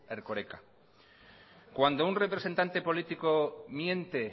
erkoreka cuando un representante político miente